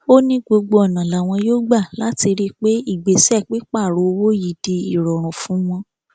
ó ní gbogbo ọnà làwọn yóò gbà láti rí i pé ìgbésẹ pípààrọ owó yìí di ìrọrùn fún wọn